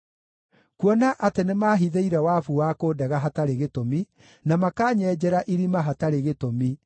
Kuona atĩ nĩmahithĩire wabu wa kũndega hatarĩ gĩtũmi, na makanyenjera irima hatarĩ gĩtũmi,